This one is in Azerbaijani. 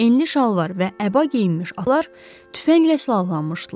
Enli şalvar və əba geyinmiş atlılar tüfənglə silahlanmışdılar.